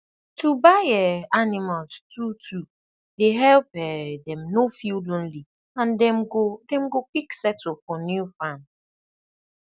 to buy um animals two two dey help um dem no feel lonely and dem go dem go quick settle for new farm